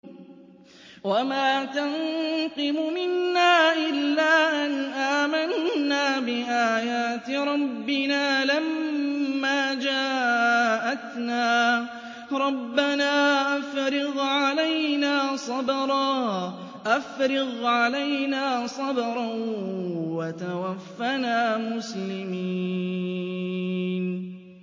وَمَا تَنقِمُ مِنَّا إِلَّا أَنْ آمَنَّا بِآيَاتِ رَبِّنَا لَمَّا جَاءَتْنَا ۚ رَبَّنَا أَفْرِغْ عَلَيْنَا صَبْرًا وَتَوَفَّنَا مُسْلِمِينَ